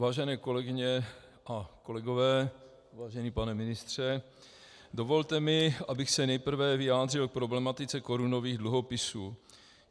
Vážené kolegyně a kolegové, vážený pane ministře, dovolte mi, abych se nejprve vyjádřil k problematice korunových dluhopisů.